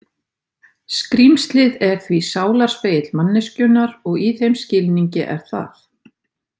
Skrímslið er því sálarspegill manneskjunnar og í þeim skilningi er það.